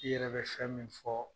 I yɛrɛ bɛ fɛn min fɔ.